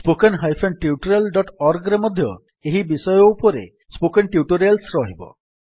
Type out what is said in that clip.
httpspoken tutorialorg ରେ ମଧ୍ୟ ଏହି ବିଷୟ ଉପରେ ସ୍ପୋକେନ୍ ଟ୍ୟୁଟୋରିଆଲ୍ସ ରହିବ